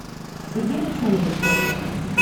сергей александрович коркин